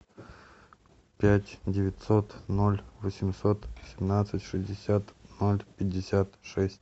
пять девятьсот ноль восемьсот семнадцать шестьдесят ноль пятьдесят шесть